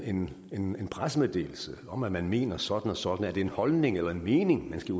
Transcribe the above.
en en pressemeddelelse om at man mener sådan og sådan er det en holdning eller en mening man skal